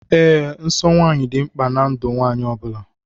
Ee, nsọ nwanyị dị mkpa ná ndụ nwanyị ọbula.